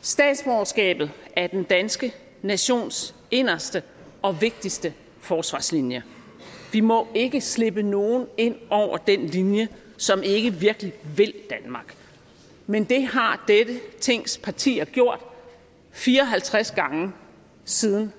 statsborgerskabet er den danske nations inderste og vigtigste forsvarslinje vi må ikke slippe nogen ind over den linje som ikke virkelig vil danmark men det har dette tings partier gjort fire og halvtreds gange siden